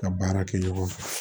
Ka baara kɛ ɲɔgɔn fɛ